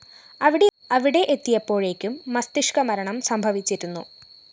അവിടെ എത്തിയപ്പോഴെക്കും മസ്തിഷ്‌ക മരണം സംഭവിച്ചിരുന്നു